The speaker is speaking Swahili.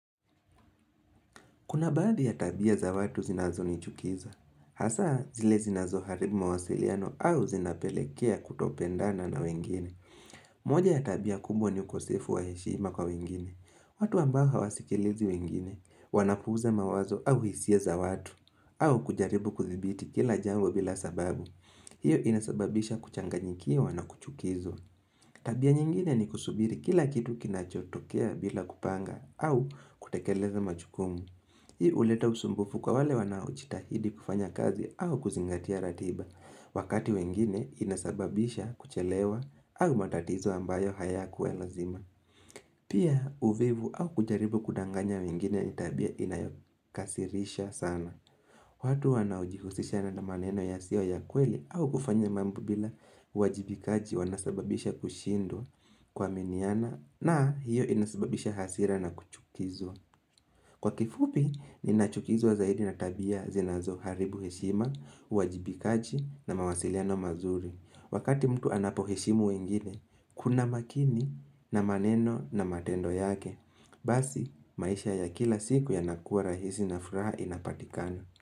Kuna baadhi ya tabia za watu zinazo nichukiza. Hasa zile zinazo haribu mawasiliano au zinapelekea kutopendana na wengine. Moja ya tabia kubwa ni ukosefu wa heshima kwa wengine. Watu ambao hawasikilizi wengine, wanapuuza mawazo au hisia za watu, au kujaribu kuthibiti kila jambo bila sababu. Hiyo inasababisha kuchanganyikiwa wana kuchukizwa. Tabia nyingine ni kusubiri kila kitu kinachotokea bila kupanga au kutekeleza majukumu. Hii huleta usumbufu kwa wale wanao jitahidi kufanya kazi au kuzingatia ratiba. Wakati wengine inasababisha kuchelewa au matatizo ambayo hayakua lazima. Pia uvivu au kujaribu kudanganya wengine ni tabia inayokasirisha sana. Watu wanaojihusishana na maneno yasio ya kweli au kufanya mambo bila uwajibikaji wanasababisha kushindwa kuaminiana na hiyo inasababisha hasira na kuchukizwa. Kwa kifupi, ninachukizwa zaidi na tabia zinazo haribu heshima, uwajibikaji na mawasiliano mazuri. Wakati mtu anapo heshimu wengine, kuna makini na maneno na matendo yake. Basi, maisha ya kila siku yanakua rahisi na furaha inapatikana.